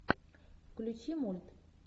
включи мульт